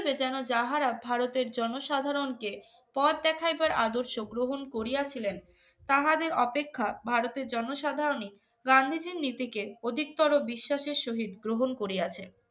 যেন যাহারা ভারতের জনসাধারণকে পথ দেখাইবার আদর্শ গ্রহণ করিয়াছিলেন তাহাদের অপেক্ষা ভারতের জনসাধারণই গান্ধীজীর নীতিকে অধিকতর বিশ্বাসের শহীদ গ্রহণ করিয়াছে